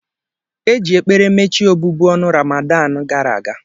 Eji ekpere mechie obubu ọnụ Ramadanụ gara aga.